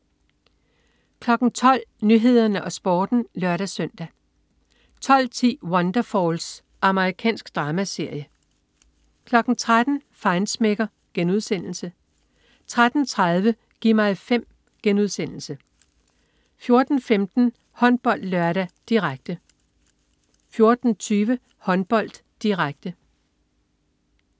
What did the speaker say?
12.00 Nyhederne og Sporten (lør-søn) 12.10 Wonderfalls. Amerikansk dramaserie 13.00 Feinschmecker* 13.30 Gi' mig 5* 14.15 HåndboldLørdag, direkte 14.20 Håndbold, direkte